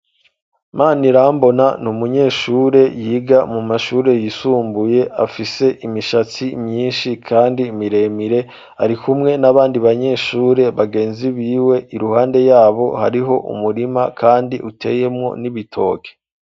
Manirambona ni umunyeshure yiga mu mashure yisumbuye afise imishatsi myinshi kandi miremire ari kumwe n'abandi banyeshure bagenzi biwe iruhande yabo hariho umurima kandi uteyemo n'ibitoke.